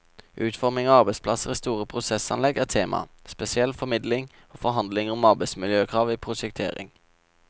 Utforming av arbeidsplasser i store prosessanlegg er temaet, spesielt formidling og forhandlinger om arbeidsmiljøkrav i prosjektering.